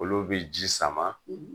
Olu bi ji sama